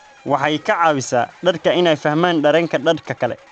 Waxay ka caawisaa dadka inay fahmaan dareenka dadka kale.